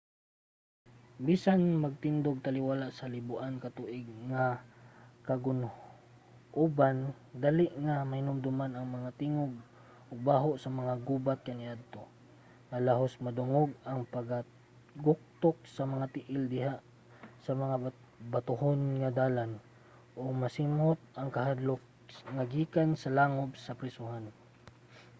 bisan magtindog taliwala sa liboan ka tuig nga kagun-oban dali nga mahinumduman ang mga tingog ug baho sa mga gubat kaniadto nga halos madungog ang pagtaguktok sa mga tiil diha sa mga batohon nga dalan ug masimhot ang kahadlok nga gikan sa mga langob sa prisohan